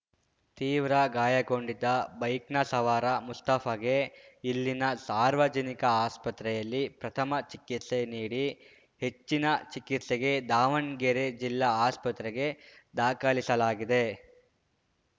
ತೀವ್ರ ಗಾಯಗೊಂಡಿದ್ದ ಬೈಕ್‌ನ ಸವಾರ ಮುಸ್ತಾಫಗೆ ಇಲ್ಲಿನ ಸಾರ್ವಜನಿಕ ಆಸ್ಪತ್ರೆಯಲ್ಲಿ ಪ್ರಥಮ ಚಿಕಿತ್ಸೆ ನೀಡಿ ಹೆಚ್ಚಿನ ಚಿಕಿತ್ಸೆಗೆ ದಾವಣ್ಗೆರೆ ಜಿಲ್ಲಾ ಆಸ್ಪತ್ರೆಗೆ ದಾಖಲಿಸಲಾಗಿದೆ